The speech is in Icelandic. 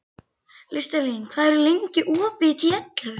Listalín, hvað er lengi opið í Tíu ellefu?